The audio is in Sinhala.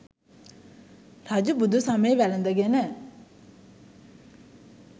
රජු බුදු සමය වැළඳ ගෙන